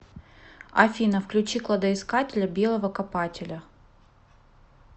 афина включи кладоискателя белого копателя